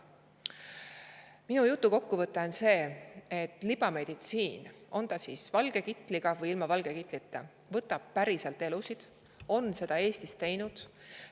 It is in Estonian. Minu jutu kokkuvõte on see, et libameditsiin, on ta valge kitliga või ilma valge kitlita, võtab päriselt elusid, on seda Eestis teinud.